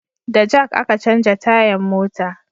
Da jak a ka canja tayan mota